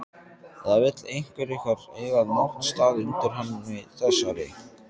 Eða vill einhver ykkar eiga náttstað undir henni þessari?